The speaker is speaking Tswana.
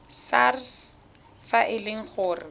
sars fa e le gore